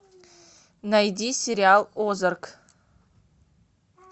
найди сериал озарк